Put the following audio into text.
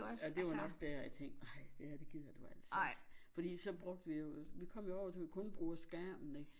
Jamen det var nok dér jeg tænkt ej det her det gider du altså ikke fordi så brugte vi jo vi kom jo over så vi kun bruger skærmen ikke